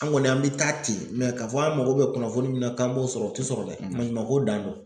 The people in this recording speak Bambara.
An kɔni an bɛ taa ten k'a fɔ an mako bɛ kunnafoni min na k'an b'o sɔrɔ o tɛ sɔrɔ dɛ maɲumanko dan do.